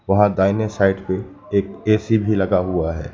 वहां दाहिने साइड पर एक ए_सी भी लगा हुआ है।